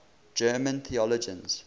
german theologians